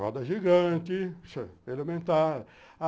Roda gigante, ele aumentar.